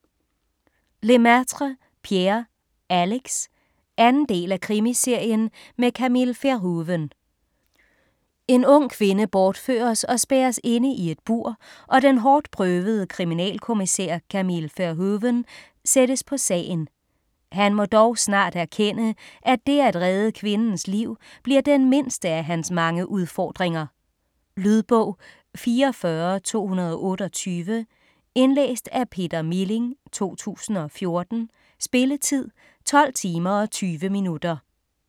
Lemaitre, Pierre: Alex 2. del af Krimiserien med Camille Verhoeven. En ung kvinde bortføres og spærres inde i et bur, og den hårdtprøvede kriminalkommissær Camille Verhoeven sættes på sagen. Han må dog snart erkende, at dét at redde kvindens liv bliver den mindste af hans mange udfordringer. Lydbog 44228 Indlæst af Peter Milling, 2014. Spilletid: 12 timer, 20 minutter.